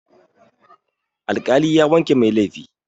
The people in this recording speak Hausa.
Alƙali ya wanke mai laifi.